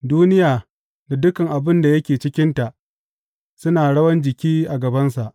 Duniya da dukan abin da yake cikinta suna rawan jiki a gabansa.